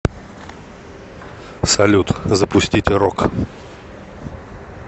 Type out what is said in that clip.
салют запустить рок